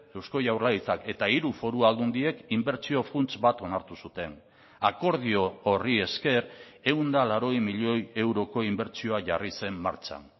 eusko jaurlaritzak eta hiru foru aldundiek inbertsio funts bat onartu zuten akordio horri esker ehun eta laurogei milioi euroko inbertsioa jarri zen martxan